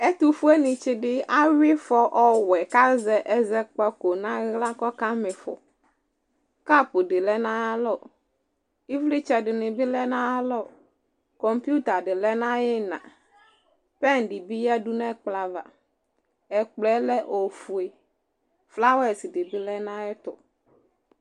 Ɛtʋfueni tsι dι awyι ifɔ ɔɔwɛ kʋ azɛ ɛzɔkpako nʋ aɣla kʋ ɔkama ιfɔ Kap dι lɛ nʋ ayι alɔ, ιvlιtsɛ dιnι bι lɛ nʋ ayʋ alɔ Kɔmpyuta dι lɛ nʋ ayʋ ιιnaPɛn dι bι yadu nʋ ɛkplɔava, ɛkplɔ yɛ lɛ ofue, flawɛs dι bι lɛ nʋ ayι ɛtʋ